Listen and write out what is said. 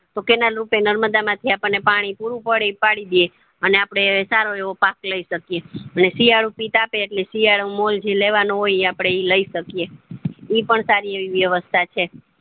તો cannel રૂપી નર્મદા માંથી આપણને પાણી પૂરું પાણી પડી દેય છે અને આપડે સારો એવો પાક લય શકીએ એટલે શિયાળુ પિત આપે એટલે શિયાળુ મોલજી લેવાનું હોય એ આપડે લય શકીએ ઈ પણ સારી એવી વ્યવસ્થા છે